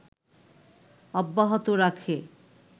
অব্যাহত রাখে